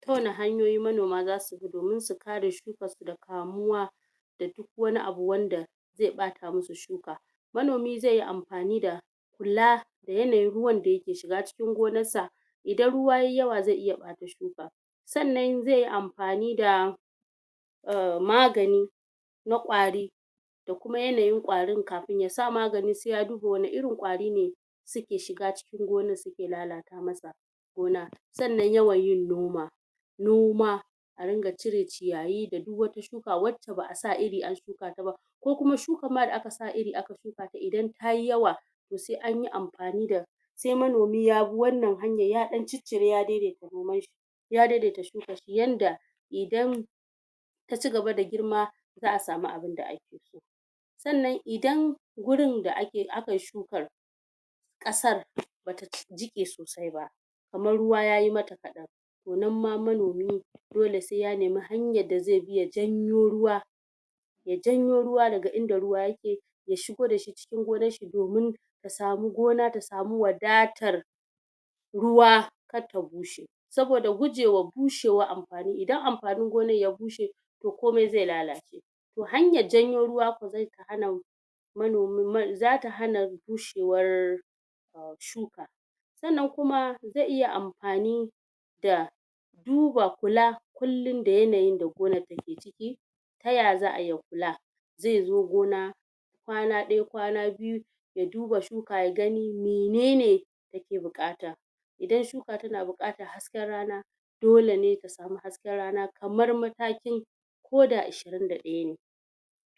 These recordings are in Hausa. ta wani hanyoyi manoma zasu bi domin su kare shukarsu daga kamuwa da duk wani abu wanda zai ɓata musu shuka manomi zai yi amfani da kula da yanayin ruwan da yake shiga gonar sa idan ruwa yayi yawa zai iya bata shuka sannan zai yi amfani da um magani na ƙwari da kuma yanayin ƙwarin kafin ya sa magani sai ya duba wani irin ƙwari ne suke shiga cikin gonar suke lalata masa gona sannnan yawan yin noma noma a ringa cire ciyayi da duk wani shuka wanda ba'a sa iri an shuka ta ba ko kuma shukar ma da aka iri aka shuka idan tayi yawa to sai anyi amfani sai manomi yabi wannan hanyar ya dan cire ya dedeta noman shi ya de de ta shukar shi yanda idan taci gaba da girma za'a samu abun da akeso sannan idan gurin da akayi shukar kasar bata jiqe sosai ba kamar ruwa yayi mata kadan to nan ma manomi sai ya nemi hanyar da zai bi ya janyo ruwa ya janyo ruwa daga inda ruwa yake ya shigo dashi cikin gonarshi domin asami gona ta sami wadatar ruwa karta bushe saboda gujewar bushe war anfani idan amfanin gonar ya bushe to komai zai lalace to hanyar janyo ruwa ko zai hana zata hana bushewar shuka sannan kuma zai iya amfani da duba kula kullum da yanayin da gonar ta ke ciki ta yaza'a yi ya kula zai zo gona kwana ɗaya kwana biyu ya duba shuka ya gani menene yake bukata idan shuka tana bukatar hasken rana dole ne ta samu hasken rana kamar matakin koda ishirin da ɗaya ne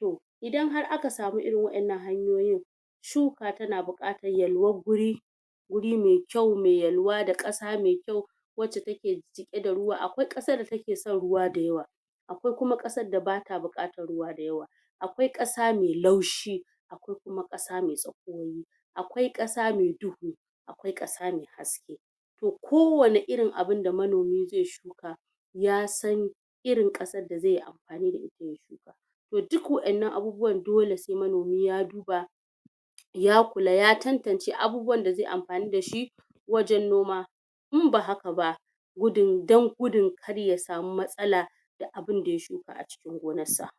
toh idan har aka samu irin waɗan nan hanyoyin shuka tana bukatar yalwan guri guri mai kyau me yalwa da kasa me kyau wacce take jiqe da akwai kasa da taken son ruwa da yawa akwai kuma kasar da bata bukatar ruwa mai yawa akwai kasa mai laushi akwai kuma kasa mai tsakuwa akwai kasa mai duhu akwai kasa mai haske to ko wani irin da abun da manomi zai shuka yasan irin kasar da zaiyi amfai da ita toh duk waɗannan abubuwan sai manomi ya duba ya kula ya tantance abuwan da zaiyi amfani dashi wajen noma in ba haka ba gudun dan gudun kar ya sami matsala da abun da ya shuka acikin gonar sa